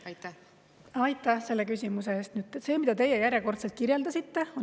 Aitäh selle küsimuse eest!